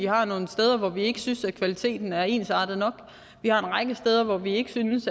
har nogle steder hvor vi ikke synes kvaliteten er ensartet nok vi har en række steder hvor vi ikke synes